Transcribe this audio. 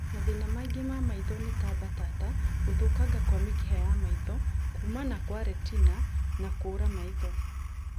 Mathĩna mangĩ ma maitho nĩ ta mbatata, gũthũkanga kwa mĩkiha ya maitho, kumana kwa retina na kũra maitho